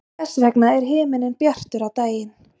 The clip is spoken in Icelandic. þess vegna er himinninn bjartur á daginn